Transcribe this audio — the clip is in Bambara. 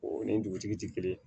O ni dugutigi ti kelen